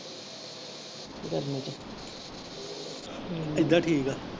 ਏਦਾਂ ਠੀਕ ਆ।